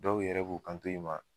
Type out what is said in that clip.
Dɔw yɛrɛ b'u kanto i ma